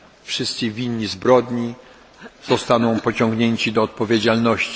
Wszyscy winni zbrodni zostaną pociągnięci do odpowiedzialności.